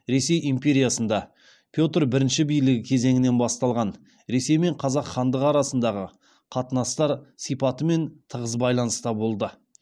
ресей империясында петр бірінші билігі кезеңінен басталған ресей мен қазақ хандығы арасындағы қатынастар сипатымен тығыз байланыста болды